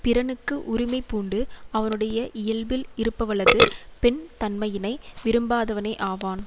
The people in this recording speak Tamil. பிறனுக்கு உரிமை பூண்டு அவனுடைய இயல்பில் இருப்பவளது பெண்தன்மையினை விரும்பாதவனே ஆவான்